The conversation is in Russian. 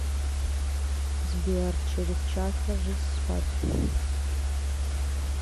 сбер через час ложись спать